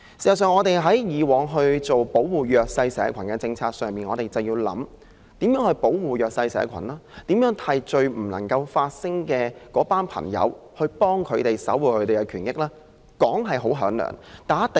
事實上，我們在擬訂保護弱勢社群政策時，便應當思考該如何保護弱勢社群及未能為自己發聲的人士，守護他們的權益。